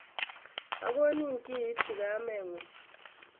Akonin ki iipchi kameng'ung'.